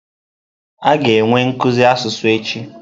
A ga-enwe nkuzi asụsụ echi.